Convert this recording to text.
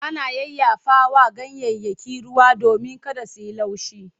Ana yayyafawa ganyayyaki ruwa domin kada su yi laushi.